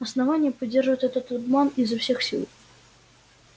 основание поддерживает этот обман изо всех сил